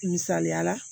Misaliyala